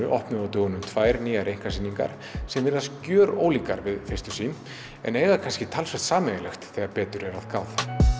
opnuðu á dögunum tvær nýjar einkasýningar sem virðast gjörólíkar við fyrstu sín en eiga kannski talsvert sameiginlegt þegar betur er að gáð